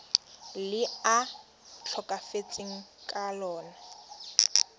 le a tlhokafetseng ka lona